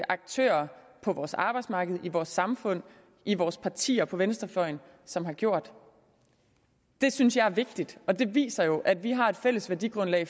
aktører på vores arbejdsmarked i vores samfund i vores partier på venstrefløjen som har gjort det synes jeg er vigtigt og det viser jo at vi har et fælles værdigrundlag